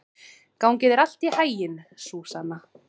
Gangi þér allt í haginn, Súsanna.